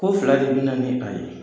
Ko fila de bɛna ni a ye.